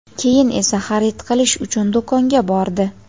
keyin esa xarid qilish uchun do‘konga bordi.